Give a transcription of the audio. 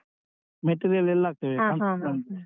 Material ಎಲ್ಲ ಹಾಕ್ತೇವೆ construction.